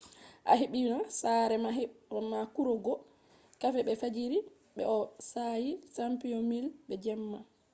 a hebbina saare ma be kurugo kafe be fajjiri be bo'o saayi chamomile be jemma